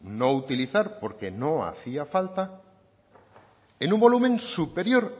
no utilizar porque no hacía falta en un volumen superior